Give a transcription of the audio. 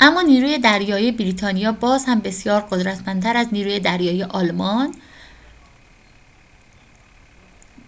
اما نیروی دریایی بریتانیا بازهم بسیار قدرتمندتر از نیروی دریایی آلمان